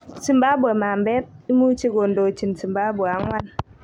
Zimbabwe "mambet" imuche kodochin Zimbabwe 4.